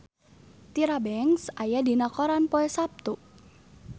Tyra Banks aya dina koran poe Saptu